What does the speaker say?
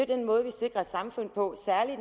den måde vi sikrer et samfund på særlig